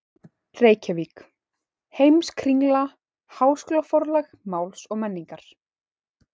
Reykjavík: Heimskringla- Háskólaforlag Máls og menningar.